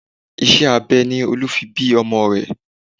Iṣẹ́ abẹ ni Olú fi bí ọmọ rẹ̀